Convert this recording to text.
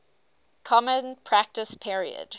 common practice period